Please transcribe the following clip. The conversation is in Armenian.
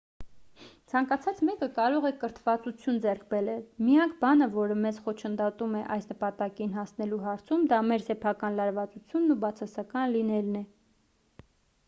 ցանկացած մեկը կարող է կրթվածություն ձեռք բերել միակ բանը որը մեզ խոչընդոտում է այս նպատակին հասնելու հարցում դա մեր սեփական լարվածությունն ու բացասական լինելն է